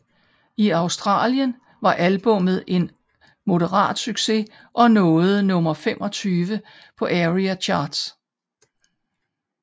I Australien var albummet en moderat succes og nåede nummer 25 på ARIA Charts